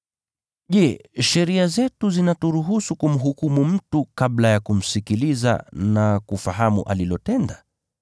“Je, sheria zetu zinaturuhusu kumhukumu mtu kabla ya kumsikiliza na kufahamu alilotenda?”